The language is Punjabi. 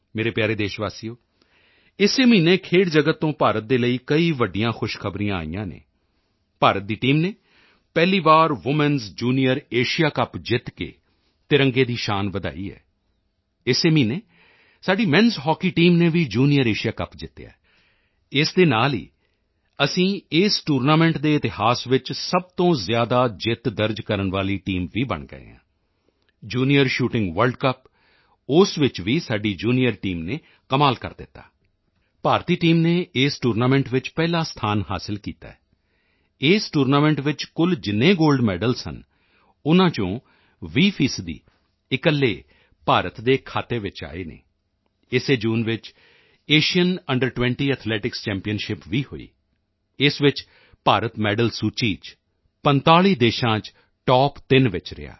ਮੇਰੇ ਪਿਆਰੇ ਦੇਸ਼ਵਾਸੀਓ ਇਸੇ ਮਹੀਨੇ ਖੇਡ ਜਗਤ ਤੋਂ ਭਾਰਤ ਦੇ ਲਈ ਕਈ ਵੱਡੀਆਂ ਖੁਸ਼ਖਬਰੀਆਂ ਆਈਆਂ ਹਨ ਭਾਰਤ ਦੀ ਟੀਮ ਨੇ ਪਹਿਲੀ ਵਾਰ ਵੂਮੈਨਸ ਜੂਨੀਅਰ ਏਸ਼ੀਆ ਕੱਪ ਜਿੱਤ ਕੇ ਤਿਰੰਗੇ ਦੀ ਸ਼ਾਨ ਵਧਾਈ ਹੈ ਇਸੇ ਮਹੀਨੇ ਸਾਡੀ ਮੈਨਸ ਹਾਕੀ ਟੀਮ ਨੇ ਵੀ ਜੂਨੀਅਰ ਏਸ਼ੀਆ ਕੱਪ ਜਿੱਤਿਆ ਹੈ ਇਸ ਦੇ ਨਾਲ ਹੀ ਅਸੀਂ ਇਸ ਟੂਰਨਾਮੈਂਟ ਦੇ ਇਤਿਹਾਸ ਵਿੱਚ ਸਭ ਤੋਂ ਜ਼ਿਆਦਾ ਜਿੱਤ ਦਰਜ ਕਰਨ ਵਾਲੀ ਟੀਮ ਵੀ ਬਣ ਗਏ ਹਾਂ ਜੂਨੀਅਰ ਸ਼ੂਟਿੰਗ ਵਰਲਡ ਕੱਪ ਉਸ ਵਿੱਚ ਵੀ ਸਾਡੀ ਜੂਨੀਅਰ ਟੀਮ ਨੇ ਵੀ ਕਮਾਲ ਕਰ ਦਿੱਤਾ ਭਾਰਤੀ ਟੀਮ ਨੇ ਇਸ ਟੂਰਨਾਮੈਂਟ ਵਿੱਚ ਪਹਿਲਾ ਸਥਾਨ ਹਾਸਿਲ ਕੀਤਾ ਹੈ ਇਸ ਟੂਰਨਾਮੈਂਟ ਵਿੱਚ ਕੁਲ ਜਿੰਨੇ ਗੋਲਡ ਮੈਡਲ ਸਨ ਉਨ੍ਹਾਂ ਚੋਂ 20 ਫੀਸਦੀ ਇਕੱਲੇ ਭਾਰਤ ਦੇ ਖਾਤੇ ਚ ਆਏ ਹਨ ਇਸੇ ਜੂਨ ਵਿੱਚ ਏਸ਼ੀਅਨ ਅੰਡਰ20 ਐਥਲੈਟਿਕਸ ਚੈਂਪੀਅਨਸ਼ਿਪ ਵੀ ਹੋਈ ਇਸ ਵਿੱਚ ਭਾਰਤ ਮੈਡਲ ਸੂਚੀ ਚ 45 ਦੇਸ਼ਾਂ ਚ ਟੌਪ3 ਵਿੱਚ ਰਿਹਾ